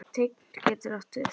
Tign getur átt við